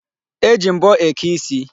E ji mbọ eke isi.